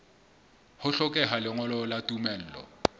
ho hlokeha lengolo la tumello